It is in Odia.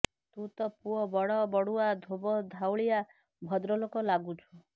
ତୁ ତ ପୁଅ ବଡ ବଡୁଆ ଧୋବ ଧାଉଳିଆ ଭଦ୍ରଲୋକ ଲାଗୁଛୁ